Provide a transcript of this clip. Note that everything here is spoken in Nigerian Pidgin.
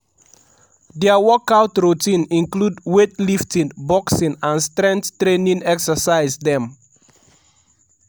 dia workout routine include weightlifting boxing and strength training exercise dem. ''